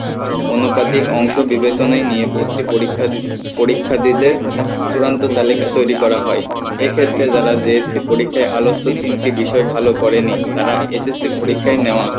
অনুপাতিক অংশ বিবেচনা নিয়ে ভর্তি পরীক্ষা পরীক্ষার্থীদের চূড়ান্ত তালিকা তৈরি করা হয় এই ক্ষেত্রে যারা JSC পরীক্ষায় আলোচ্য তিনটে বিষয় ভালো করেনি তারা SSC পরীক্ষায় নেওয়া